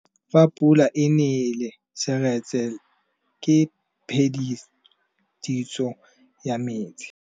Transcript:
Fa pula e nelê serêtsê ke phêdisô ya metsi.